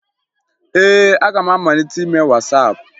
Ee, aga m amalite ime Wasaapụ